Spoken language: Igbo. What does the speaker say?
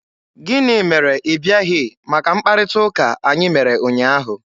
Gịnị mere ị bịaghị maka mkparịta ụka anyị mere ụnyaahụ?